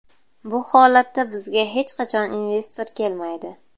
Bu holatda bizga hech qachon investor kelmaydi.